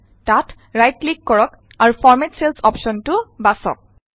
তাত right click কৰক আৰু ফৰমেট চেলচ অপশ্যনটো বাচক